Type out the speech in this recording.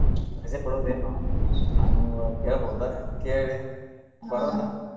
ರಜೆ ಕೊಡೋದ ಏನು ನಾನು ಕೇಳ್ಬೋದಾ ಕೇಳಿ ಬರೋಣ.